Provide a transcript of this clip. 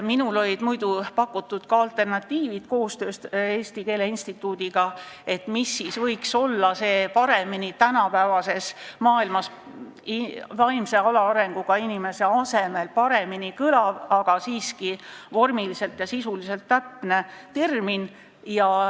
Minul olid koostöös Eesti Keele Instituudiga pakutud ka alternatiivid, mis võiks olla tänapäevases maailmas paremini kõlav väljend vaimse alaarenguga inimese kohta, mis oleks siiski vormiliselt ja sisuliselt täpne termin.